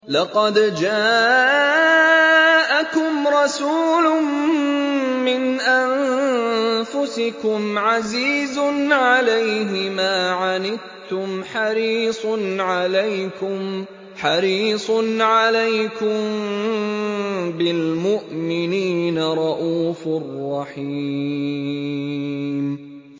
لَقَدْ جَاءَكُمْ رَسُولٌ مِّنْ أَنفُسِكُمْ عَزِيزٌ عَلَيْهِ مَا عَنِتُّمْ حَرِيصٌ عَلَيْكُم بِالْمُؤْمِنِينَ رَءُوفٌ رَّحِيمٌ